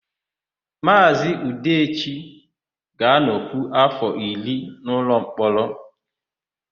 Maazị Udechi ga-anọkwu áfọ̀ iri n'ụlọmkpọrọ.